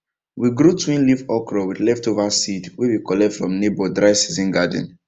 we grow twin leaf okra with leftover seed wey we collect from neighbor dry season garden